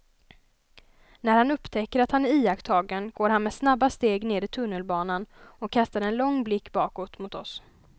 När han upptäcker att han är iakttagen går han med snabba steg ner i tunnelbanan och kastar en lång blick bakåt mot oss.